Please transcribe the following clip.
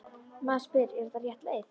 Maður spyr: Er þetta rétt leið?